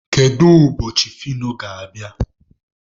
Kedu ụbọchị Fino ga-abịa?